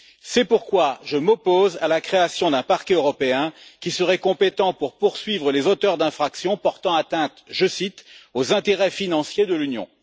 C'est pourquoi je m'oppose à la création d'un parquet européen, qui serait compétent pour poursuivre les auteurs d'infractions portant atteinte aux intérêts financiers de l'Union.